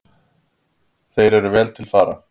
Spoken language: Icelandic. Þeir eru vel til fara.